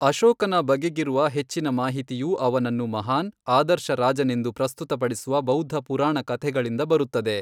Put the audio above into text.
ಅಶೋಕನ ಬಗೆಗಿರುವ ಹೆಚ್ಚಿನ ಮಾಹಿತಿಯು ಅವನನ್ನು ಮಹಾನ್, ಆದರ್ಶ ರಾಜನೆಂದು ಪ್ರಸ್ತುತಪಡಿಸುವ ಬೌದ್ಧ ಪುರಾಣ ಕಥೆಗಳಿಂದ ಬರುತ್ತದೆ.